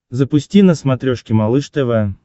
запусти на смотрешке малыш тв